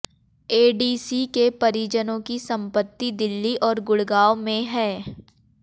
ADC के परिजनों की संपत्ति दिल्ली और गुडग़ांव में है